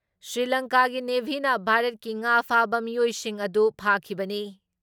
ꯁ꯭ꯔꯤꯂꯪꯀꯥꯒꯤ ꯅꯦꯚꯤꯅ ꯚꯥꯔꯠꯀꯤ ꯉꯥ ꯐꯥꯕ ꯃꯤꯑꯣꯏꯁꯤꯡ ꯑꯗꯨ ꯐꯥꯈꯤꯕꯅꯤ ꯫